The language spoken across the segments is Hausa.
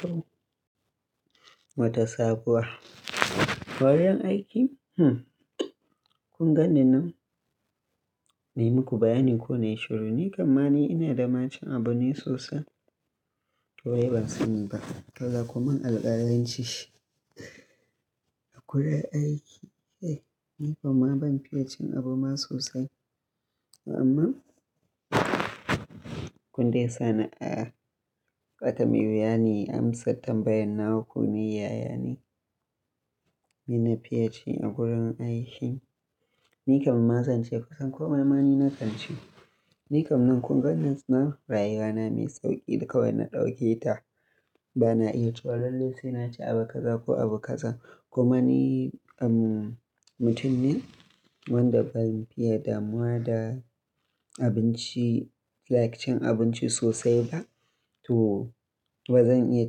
To, wata sabuwa. Kayan aiki? Mhm Kun ganni nan na yi muku bayanin ko na yi shiru ne, kam mani ina da ma cin abincne sosai to dai ba sani ba. Kada kumin alƙalanci shi a gurin aiki, eh ni kuma ban fiye cin abu ma sosai. Amma kun dai sa ni a ƙatami wane amsar tambayan nawa ku ne yaya ne, ni na fiye ci a gurin aiki. Ni kam ma zan ce kusan komai ma ni na kan ci. Ni kam nan kun gani nan rayuwa na mai sauƙi da kawai na ɗauke ta, ba na iya cewa lallai sai na ci abu kaza ko abu kaza. Kuma ni, um, mutum ne wanda ban fiye damuwa da abinci, like cin abinci sosai ba to ba zan iya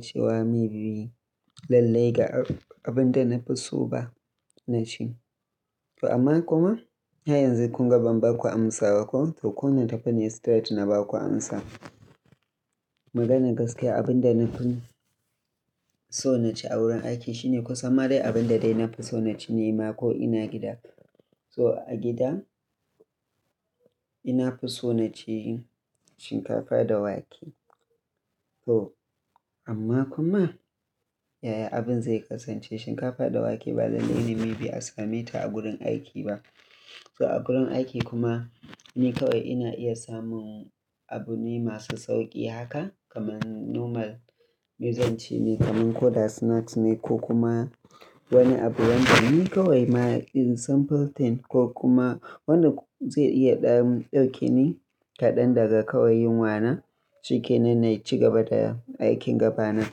cewa maybe lallai ga abin da na fi so ba na ci. To amma kuma har yanzu kun ga ban baku amsa ba kuwa? To kuna tafiya start na baku amsa. Maganar gaskiya abin da na fi so na ci a wurin aiki shine kusan ma dai abin da dai na fi so na ci nema ko ina gida. So a gida nina fi so na ci shinkafa da wake. To amma kuma, yaya abin zai kasance shinkafa da wake ba lallai ne maybe a same ta a gurin aiki ba. So a gurin aiki kuma ni kawai ina iya samun abune masu sauƙi haka kaman normal mizanci ne kaman ko da snacks ne ko kuma wani abu wanda ni kawai ma in sample thing ko kuma wanda zai iya ɗan, ɗauke ni kaɗan daga kawai yunwa na, shi ke nan na ci gaba da aikin gaba na.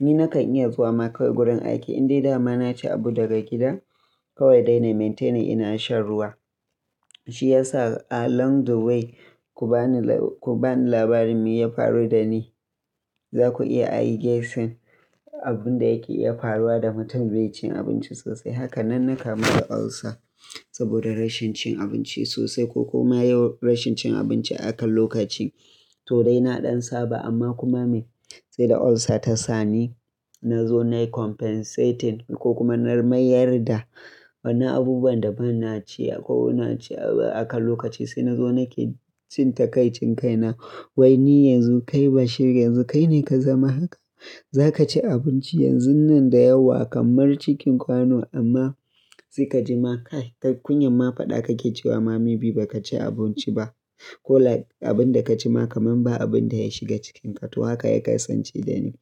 Ni na kan iya zuwa ma kawai gurin aiki in dai dama na ci abu daga gida, kawai dai na maintainer ina shan ruwa. Shi ya sa along the way ku bani la, ku bani labarin me ya faru da ni, za ku iya i guessin abin da yake iya faruwa da mutum bai ci abinci sosai. Haka nan na kama da ulcer saboda rashin cin abinci sosai ko kuma yawan rashin cin abinci a kan lokaci. To dai na ɗan saba amma kuma me? Sai da ulcer ta sa ni na zo nayi compensating ko kuma na mayar da wani abubuwan da ban na ci akwai na ci a akan lokaci. Sai na zo nake jin takai cin kai na wai ni yanzu kai bashir yanzu kai ne ka zama haka. Za ka ci abinci yanzun nan da yawa kamar cikin kwano amma sai ka ji ma kai kunyar ma faɗa kake cewa ma maybe ba ka ci abinci ba. Ko like abin da ka ci ma kaman ba abin da ya shiga cikinka to haka ya kasance da ni.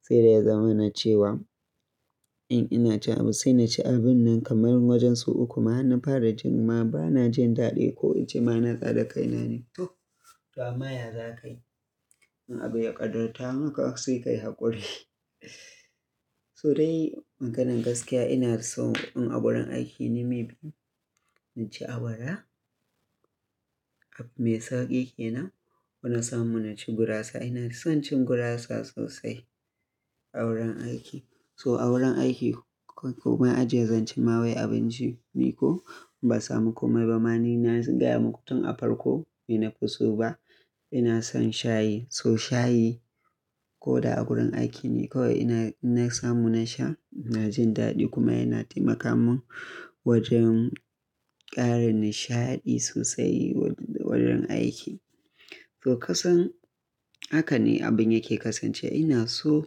Sai dai ya zama na cewa in ina ci abu sai na ci abun nan kamar wajensu uku ma ina fara jin ma ba na jin daɗi ko in ji ma na tsare kaina ne. To, ammma ya zakayi in abu ya ƙadarta maka sai ka yi haƙuri. So dai maganan gaskiya ina son in a wurin aiki ni maybe na ci awara, abu mai sauƙi ke nan ko na samu na ci gurasa. Ina son cin gurasa sosai a wurin aiki. To a wurin aiki kai kuma ajiye zancen ma wai abinci ni ko ban samu komai ba ma ni na gaya muku tun a farko me na fi so ba, ina son shayi. To shayi ko da a gurin aiki ni kawai ina, inna samu na sha na jin daɗi kuma yana taimaka mun wajen ƙara nishaɗi sosai wurin aiki. To kusan haka ne abin yake kasance. Ina so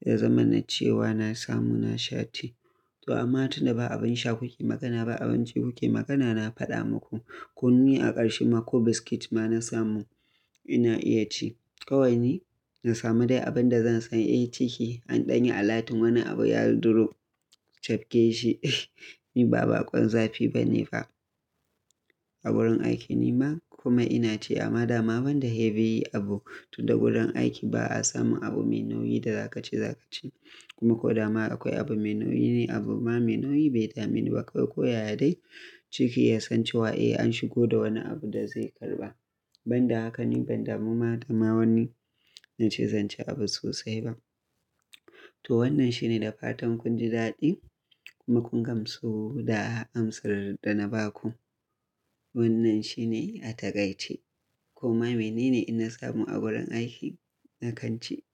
ya zama na cewa na samu na sha tea. To amma tunda ba abin sha kuke magana ba abinci kuke magana na faɗa muku. Kuma ni a ƙarshe ma ko biscuit ma na samu ina iya ci. Kawai ni na samu dai abin da zan sani eh ciki an ɗanye alatun wani abu ya drop, cafke shi, ni ba baƙon zafi ba ne ba a wurin aiki ni ma. Kuma ina ci amma dama ban da heavy yi abu tunda gurin aiki ba a samu abu mai nauyi da za ka ci za ka ci. Kuma ko dama akwai abu mai nauyi ni abu ma mai nauyi bai dameni ba kawai ko yaya dai ciki ya san cewa eh an shigo da wani abu da zai karɓa. Ban da haka ne ban damu ma dama wani na ce zan ci abu sosai ba. To wannan shi ne da fatan kun ji daɗi kuma kun gamsu da amsar da na baku. Wannan shi ne a takaice. Koma mene ne inna samu a wurin aiki na kan ci?